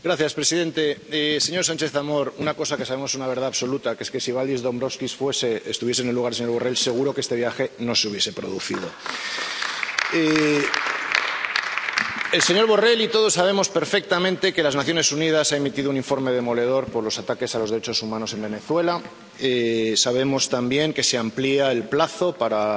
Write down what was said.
Señor presidente, señor Sánchez Amor, una cosa que sabemos que es una verdad absoluta es que, si Valdis Dombrovskis estuviese en el lugar del señor Borrell, seguro que este viaje no se hubiese producido. El señor Borrell y todos sabemos perfectamente que las Naciones Unidas han emitido un informe demoledor por los ataques a los derechos humanos en Venezuela. Sabemos también que se amplía el plazo para